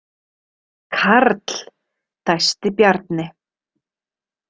Karl, dæsti Bjarni.